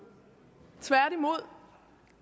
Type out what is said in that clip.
tværtimod